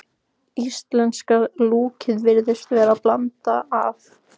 Íslenska lúkkið virðist vera blanda af